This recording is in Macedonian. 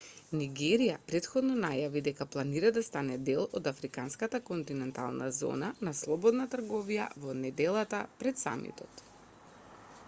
нигерија претходно најави дека планира да стане дел од африканската континентална зона на слободна трговија во неделата пред самитот